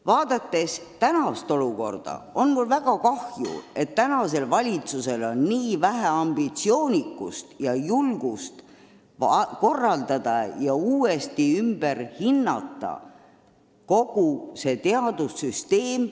Vaadates praegust olukorda, on mul väga kahju, et valitsusel on nii vähe ambitsioonikust ja julgust uuesti ümber hinnata kogu meie teadussüsteem.